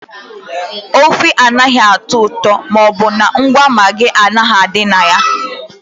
Ofe anaghị atọ ụtọ ma ọ bụrụ na ngwa Maagị adịghị na ya.